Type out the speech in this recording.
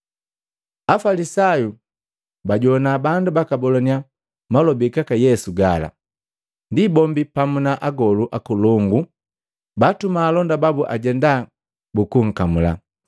Afalisayu bajowana bandu bakabolannya malobi gaka Yesu gala, ndi bombi pamu na agolu akolongu baatuma alonda babu ajenda bukunkamula.